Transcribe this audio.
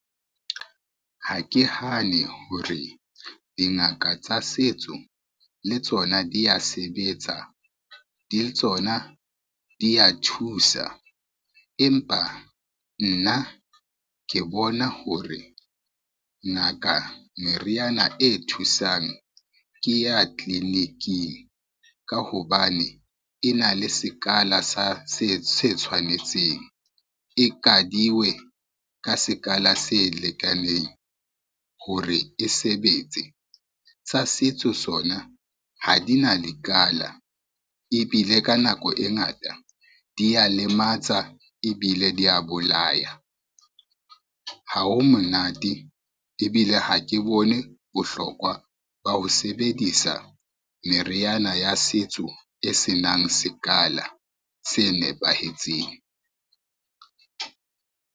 Ha ke hane hore dingaka tsa setso le tsona dia sebetsa, le tsona di ya thusa, empa nna ke bona hore, ngaka meriana e thusang ke ya tliliniking ka hobane e na le sekala se tshwanetseng, e kadiwe ka sekala se lekaneng hore e sebetse. Tsa setso sona ha di na dikala ebile ka nako e ngata dia lematsa ebile dia bolaya, ha ho monate ebile ha ke bone bohlokwa ba ho sebedisa meriana ya setso e senang sekala se nepahetseng.